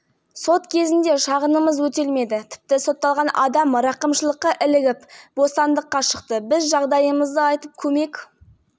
қазір отбасы үйді жөндей алмайды тұруға жарамсыз ал ай сайын пәтер ақысын төлеу қиынға соқты себебі отағасы тұрақты жұмыс істемейді